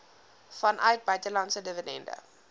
vanuit buitelandse dividende